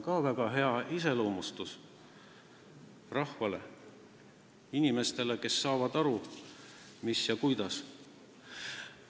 See iseloomustab rahvast väga hästi: inimesed saavad aru, mis ja kuidas.